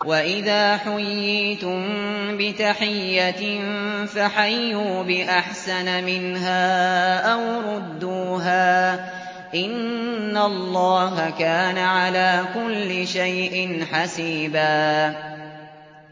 وَإِذَا حُيِّيتُم بِتَحِيَّةٍ فَحَيُّوا بِأَحْسَنَ مِنْهَا أَوْ رُدُّوهَا ۗ إِنَّ اللَّهَ كَانَ عَلَىٰ كُلِّ شَيْءٍ حَسِيبًا